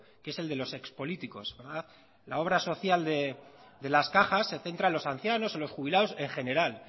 que es de los ex políticos verdad la obra social de las cajas se centra en los ancianos en los jubilados en general